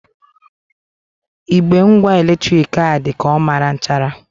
Igbe ngwa eletrik a dị ka ọ mara nchara.